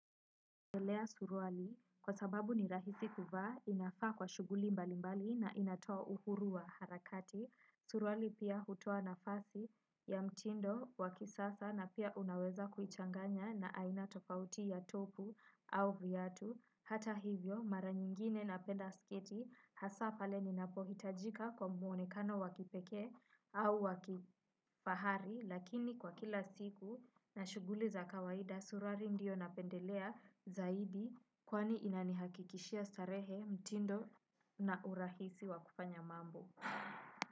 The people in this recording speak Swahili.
Napelea suruali kwa sababu ni rahisi kuvaa inafaa kwa shuguli mbali mbali na inatoa uhuru wa harakati. Suruali pia hutoa nafasi ya mtindo wa kisasa na pia unaweza kuichanganya na aina tofauti ya topu au vyatu. Hata hivyo mara nyingine napenda sketi hasa pale ninapohitajika kwa mwonekano wa kipekee au wa kifahari. Lakini kwa kila siku na shuguli za kawaida surari ndio napendelea zaidi kwani inanihakikishia starehe mtindo na urahisi wa kufanya mambo.